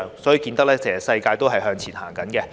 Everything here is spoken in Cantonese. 由此可見，其實世界也正在向前走。